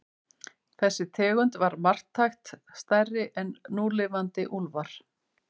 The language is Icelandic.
Þessi tegund var marktækt stærri en núlifandi úlfar.